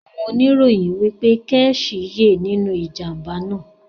Àwon onirọ̀yìn wípé Kẹ́chì yẹ́ nínú ìjàmbá náà